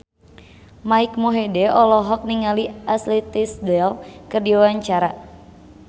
Mike Mohede olohok ningali Ashley Tisdale keur diwawancara